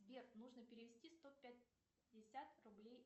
сбер нужно перевести сто пятьдесят рублей